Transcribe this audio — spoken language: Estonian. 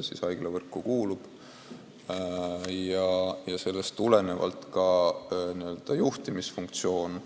Tänu sellele on ka n-ö juhtimisfunktsioon